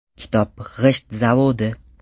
Kitob g‘isht zavodi.